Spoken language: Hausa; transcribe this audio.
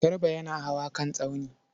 Garba yana hawa kan tsauni.